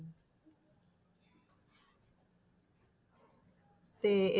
ਤੇ,